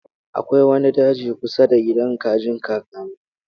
Akwai wani daji kusa da gidan kajin kakana.